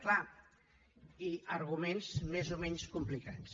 clar i arguments més o menys complicats